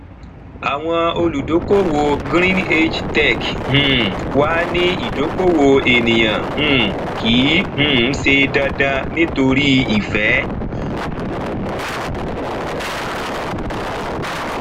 àwọn olùdókòwò greenage tech um wa ni ìdókòwò ènìyàn um kìí um ṣe dandan nítorí ìfẹ